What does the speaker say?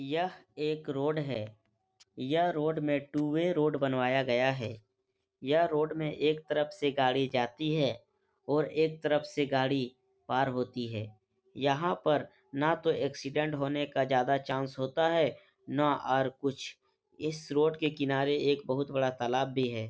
यह एक रोड है। यह रोड में टू वे रोड बनवाया गया है। यह रोड में एक तरफ से गाड़ी जाती है और एक तरफ से गाड़ी पार होती है। यहाँ पर ना तो एक्सीडेंट होने का ज्यादा चांस होता है ना और कुछ। इस रोड के किनारे एक बहुत बड़ा तालाब भी है।